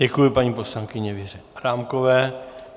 Děkuji paní poslankyni Věře Adámkové.